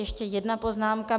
Ještě jedna poznámka.